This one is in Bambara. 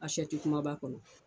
kuma b'a kɔnɔ